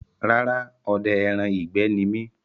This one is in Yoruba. Rárá, odẹ ẹran ìgbẹ́ ni mi